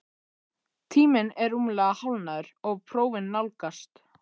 Tíminn er rúmlega hálfnaður og prófin nálgast,